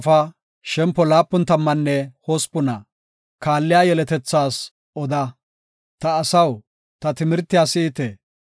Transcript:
Ta asaw, ta timirtiya si7ite; ta doonape keyiya qaala hayzidi si7ite.